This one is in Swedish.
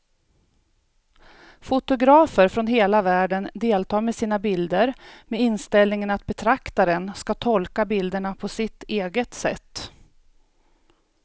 Fotografer från hela världen deltar med sina bilder med inställningen att betraktaren ska tolka bilderna på sitt eget sätt.